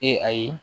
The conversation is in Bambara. Ee ayi